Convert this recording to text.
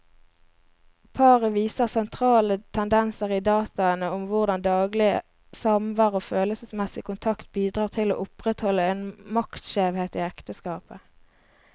Paret viser sentrale tendenser i dataene om hvordan daglig samvær og følelsesmessig kontakt bidrar til å opprettholde en maktskjevhet i ekteskapet.